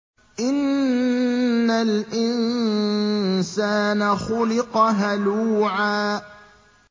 ۞ إِنَّ الْإِنسَانَ خُلِقَ هَلُوعًا